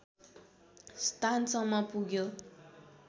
स्थानसम्म पुग्यो